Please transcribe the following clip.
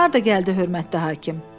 Harda gəldi hörmətli hakim.